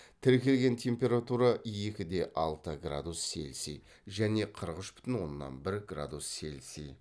тіркелген температура екі де алты градус цельсий және қырық үш бүтін оннан бір градус цельсий